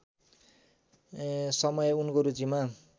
समय उनको रुचिमा